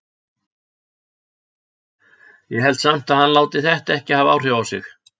Ég held samt að hann láti þetta ekki hafa áhrif á sig.